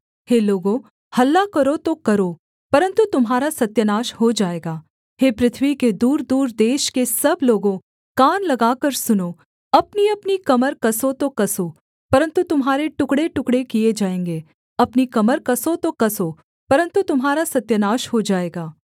हे लोगों हल्ला करो तो करो परन्तु तुम्हारा सत्यानाश हो जाएगा हे पृथ्वी के दूरदूर देश के सब लोगों कान लगाकर सुनो अपनीअपनी कमर कसो तो कसो परन्तु तुम्हारे टुकड़ेटुकड़े किए जाएँगे अपनी कमर कसो तो कसो परन्तु तुम्हारा सत्यानाश हो जाएगा